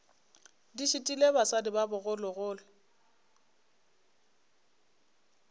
di šitile basadi ba bogologolo